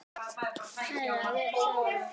Hræra vel saman.